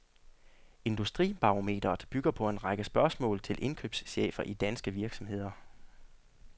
Industribarometret bygger på en række spørgsmål til indkøbschefer i danske virksomheder.